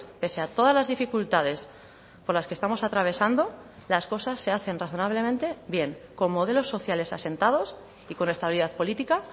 pese a todas las dificultades por las que estamos atravesando las cosas se hacen razonablemente bien con modelos sociales asentados y con estabilidad política